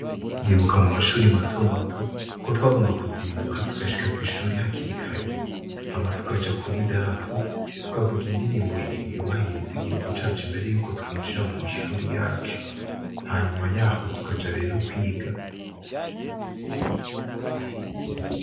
Ndibuka mu mashure matomato ko twagomba kuzinduka tugashika kw'ishure hakiri kare hama tukaja kuri darapo, tukavuga indirimbo yubahiriza igihugu cacu, imbere yuko twinjira mu mashure yacu. Hanyuma y'aho tukaja rero kwiga.